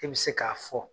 E bɛ se k'a fɔ